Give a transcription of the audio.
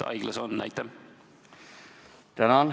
Tänan!